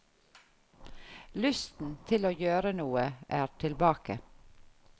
Lysten til å gjøre noe er tilbake.